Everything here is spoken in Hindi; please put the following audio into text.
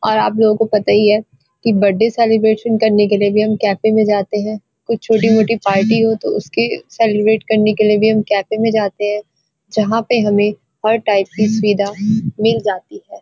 और आप लोगों को पता ही है कि बर्थडे सेलिर्बेशन करने के लिए भी हम कैफे में जाते हैं कुछ छोटी-मोटी पार्टी हो तो उसके सेलिर्बेट करने के लिए हम कैफे में जाते हैं जहां पे हमें हर टाइप की सुविधा मिल जाती है।